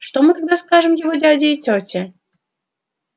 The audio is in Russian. что мы тогда скажем его дяде и тете